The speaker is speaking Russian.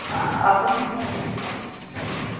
автономный двадцать три а